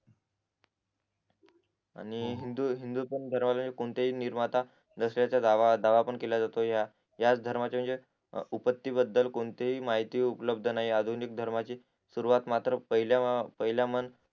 आणि हिंदू हिंदू धर्माला कोणताही निर्माता नसल्याचा दावा दावा पण केला जातो याच धर्माचे म्हणजे उपास्ति बदल कोणतीही माहिती उपलब्द नाही आधुनिक धर्मची सुरवात मात्र पहिला पहिला